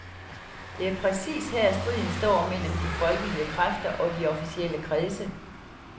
Det er præcis her striden står mellem de folkelige kræfter og de officielle kredse.